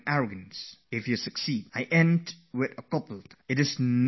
I would like to conclude my message with a couplet 'It cannot be that one succeeds each time